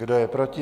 Kdo je proti?